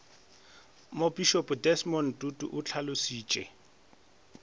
mopišopo desmond tutu o hlalošitše